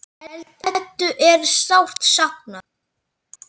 Eddu er sárt saknað.